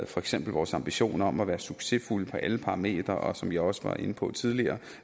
for eksempel vores ambitioner om at være succesfulde på alle parametre og som jeg også var inde på tidligere